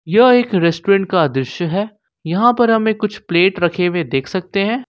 यह एक रेस्टोरेंट का दृश्य है यहां पर हमें कुछ प्लेट रखे हुए देख सकते हैं।